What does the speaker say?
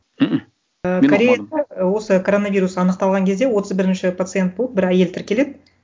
осы коронавирус анықталған кезде отыз бірінші пациент болып бір әйел тіркеледі